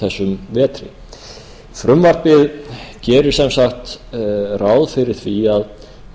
þessum vetri frumvarpið gerir sem sagt ráð fyrir því að